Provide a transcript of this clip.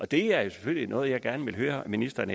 det er selvfølgelig noget jeg gerne vil høre ministeren